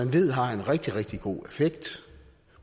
ved har en rigtig rigtig god effekt